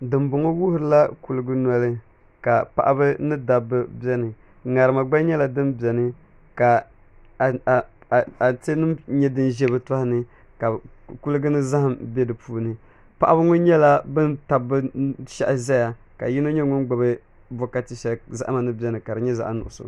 Dinbɔŋɔ wuhurila kuligu nɔli ka paɣaba ni dabba biɛni ŋarima gba nyɛla din biɛni ka atɛ nim nyɛ din ʒɛ bi tohani ka kuligi ni zaham bɛ di puuni paɣaba ŋɔ nyɛla bin tabi bi shahi ʒɛya ka yino nyɛ ŋun gbubi nokati shɛli zahama ni biɛni ka di nyɛ zaɣ nuɣso